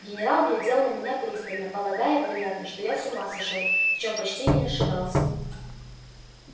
генерал глядел на меня пристально полагая вероятно что я с ума сошёл в чём почти не ошибался